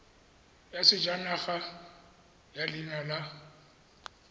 ya sejanaga ya leina la